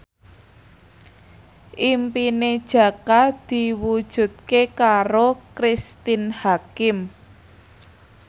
impine Jaka diwujudke karo Cristine Hakim